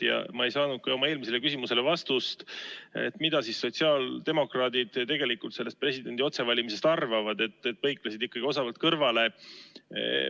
Ja ma ei saanud ka oma eelmisele küsimusele vastust, et mida sotsiaaldemokraadid tegelikult presidendi otsevalimisest arvavad, põiklesid ikka osavalt kõrvale.